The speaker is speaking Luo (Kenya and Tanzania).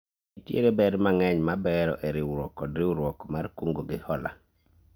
Nitiere ber mang'eny mar bero e riwruok kod riwruok mar kungo gi hola